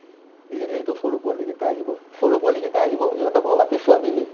সেই সৰু পোৱালীকেইটা আহিব সৰু পোৱালীকেইটা আহিব ইহতক মই মাতিছো আবেলি